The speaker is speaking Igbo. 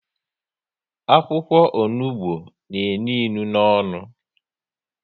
Akwụkwọ onugbu n'enu inu n'onu